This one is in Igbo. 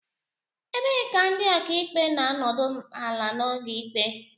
Ebee ka ndị okaikpe na-anọdụ ala n'oge ikpe